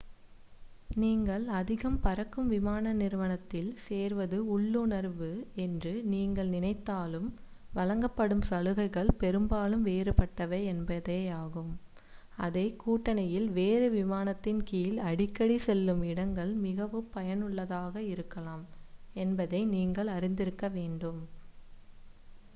நீங்கள் அதிகம் பறக்கும் விமான நிறுவனத்தில் சேர்வது உள்ளுணர்வு என்று நீங்கள் நினைத்தாலும் வழங்கப்படும் சலுகைகள் பெரும்பாலும் வேறுபட்டவை என்பதையும் அதே கூட்டணியில் வேறு விமானத்தின் கீழ் அடிக்கடி செல்லும் இடங்கள் மிகவும் பயனுள்ளதாக இருக்கலாம் என்பதையும் நீங்கள் அறிந்திருக்க வேண்டும்